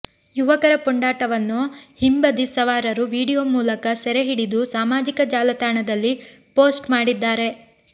ಯುವಕರ ಪುಂಡಾಟವನ್ನು ಹಿಂಬದಿ ಸವಾರರು ವಿಡಿಯೋ ಮೂಲಕ ಸೆರೆ ಹಿಡಿದು ಸಾಮಾಜಿಕ ಜಾಲತಾಣದಲ್ಲಿ ಪೋಸ್ಟ್ ಮಾಡಿದ್ದಾರೆ